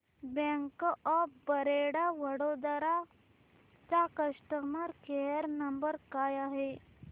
bank of Baroda Vadodara चा customer care number काय आहे